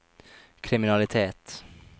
kriminalitet